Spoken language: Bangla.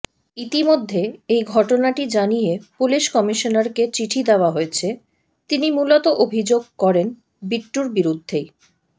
ইতিমধ্যে এই ঘটনাটি জানিয়ে পুলিশ কমিশনারকে চিঠি দেওয়া হয়েছে তিনি মূলত অভিযোগ করেন বিট্টুর বিরুদ্ধেই